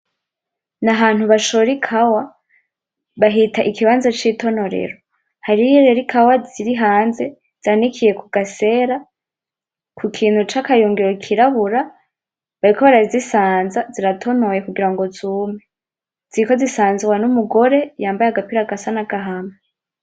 Ni ahantu bashora ikawa, bahita ikibanza c'itonorero. Hariho rero ikawa ziri hanze, zanikiye ku gasera, kukintu c'akayungiro kirabura. Bariko barazisanza, ziratonoye kugura ngo zume. Ziriko zisanzwa n'umugore yambaye agapira gasa n'agahama.